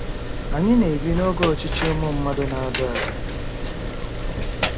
Anyị na-ebi n'oge ọchịchị ụmụ mmadụ na-ada ada.